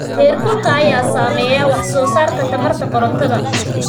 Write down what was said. Heerkulka ayaa saameeya wax soo saarka tamarta korontada.